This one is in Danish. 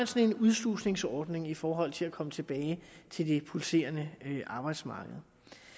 sådan udslusningsordning i forhold til at komme tilbage til det pulserende arbejdsmarked